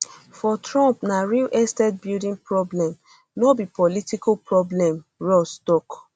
for trump na real estate building problem no be political problem ross tok